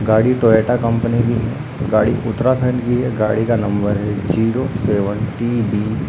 गाड़ी Toyota company की है गाड़ी उत्तराखंड की है गाड़ी का नंबर है ज़ीरो सेवेनटी बी ।